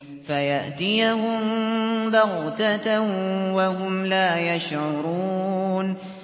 فَيَأْتِيَهُم بَغْتَةً وَهُمْ لَا يَشْعُرُونَ